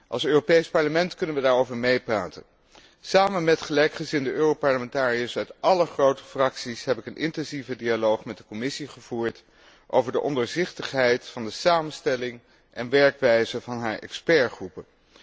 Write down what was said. Als Europees Parlement kunnen we daarover meepraten. Samen met gelijkgezinde Europarlementariërs uit alle grote fracties heb ik een intensieve dialoog met de Commissie gevoerd over de ondoorzichtigheid van de samenstelling en werkwijze van haar deskundigengroepen.